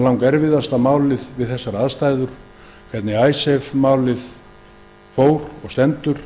icesave málið langerfiðasta málið við þessar aðstæður hvernig það fór og stendur